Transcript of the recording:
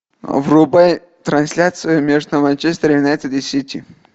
врубай трансляцию между манчестер юнайтед и сити